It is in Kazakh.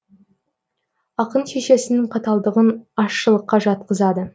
ақын шешесінің қаталдығын ащылыққа жатқызады